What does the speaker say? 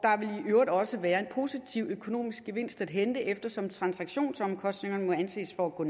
i øvrigt også være en positiv økonomisk gevinst at hente eftersom transaktionsomkostningerne må anses for at gå